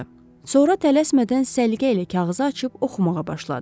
Sonra tələsmədən səliqə ilə kağızı açıb oxumağa başladı.